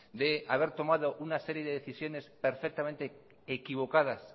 de haber tomado una serie de decisiones perfectamente equivocadas